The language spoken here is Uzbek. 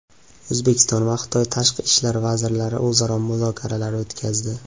O‘zbekiston va Xitoy tashqi ishlar vazirlari o‘zaro muzokaralar o‘tkazdi.